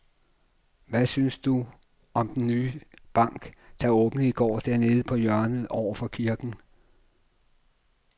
Hvad synes du om den nye bank, der åbnede i går dernede på hjørnet over for kirken?